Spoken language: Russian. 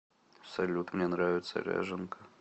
салют мне нравится ряженка